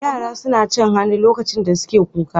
Yara suna cin hannu lokacin da suke kuka?